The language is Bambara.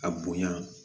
A bonya